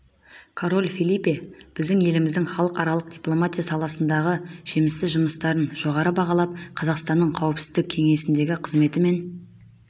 король фелипе біздің еліміздің халықаралық дипломатия саласындағы жемісті жұмыстарын жоғары бағалап қазақстанның қауіпсіздік кеңесіндегі қызметі мен